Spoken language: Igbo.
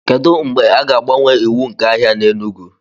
kedu mgbe a ga-agbanwe iwu nke ahịa na enugu